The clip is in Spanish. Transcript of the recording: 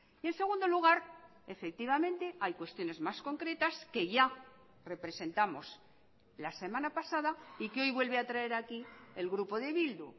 y en segundo lugar efectivamente hay cuestiones más concretas que ya representamos la semana pasada y que hoy vuelve a traer aquí el grupo de bildu